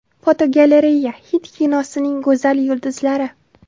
Fotogalereya: Hind kinosining go‘zal yulduzlari.